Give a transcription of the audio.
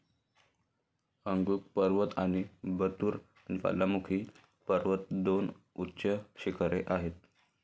Agung पर्वत आणि Batur ज्वालामुखी पर्वत दोन उच्च शिखरे आहेत.